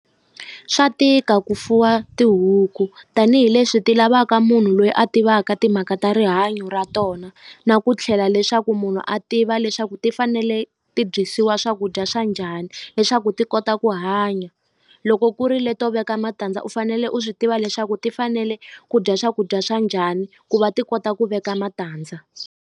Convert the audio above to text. Swa tika ku fuwa tihuku tanihileswi ti lavaka munhu loyi a tivaka timhaka ta rihanyo ra tona na ku tlhela leswaku munhu a tiva leswaku ti fanele ti dyisiwa swakudya swa njhani leswaku ti kota ku hanya loko ku ri leto veka matandza u fanele u swi tiva leswaku ti fanele ku dya swakudya swa njhani ku va ti kota ku veka matandza.